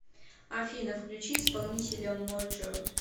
афина включи исполнителя моджо